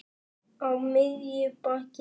Á miðju baki.